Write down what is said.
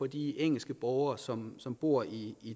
de engelske borgere som som bor i